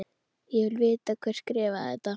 Ég vil vita hver skrifaði þetta.